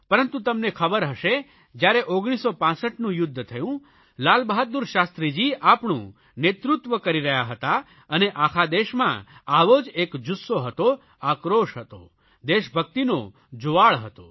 પરંતુ તમને ખબર હશે જયારે 1965નું યુદ્ધ થયું લાલબહાદુર શાસ્ત્રીજી આપણું નેતૃત્વ કરી રહ્યા હતા અને આખા દેશમાં આવો જ એક જુસ્સો હતો આક્રોશ હતો દેશભકિતનો જુવાળ હતો